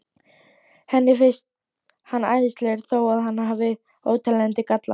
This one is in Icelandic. Henni finnst hann æðislegur þó að hann hafi óteljandi galla.